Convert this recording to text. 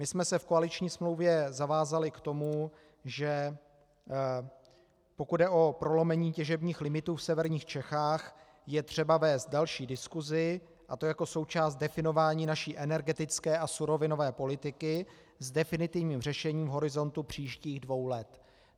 My jsme se v koaliční smlouvě zavázali k tomu, že pokud jde o prolomení těžebních limitů v severních Čechách, je třeba vést další diskusi, a to jako součást definování naší energetické a surovinové politiky s definitivním řešením horizontu příštích dvou let.